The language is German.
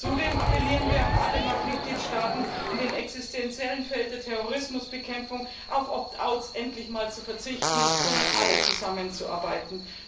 Zudem appellieren wir an alle Mitgliedstaaten, in dem existentiellen Bereich der Terrorismusbekämpfung auf Opt outs endlich mal zu verzichten, sondern stattdessen alle zusammenzuarbeiten.